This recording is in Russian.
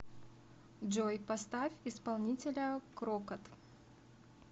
джой поставь исполнителя крокот